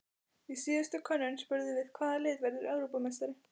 Í síðustu könnun spurðum við- Hvaða lið verður Evrópumeistari?